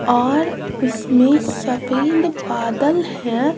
और उसमें सफेद बादल हैं।